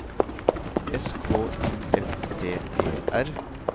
S K I F T E R